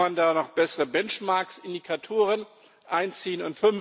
Kann man da noch bessere Benchmarks, Indikatoren einziehen?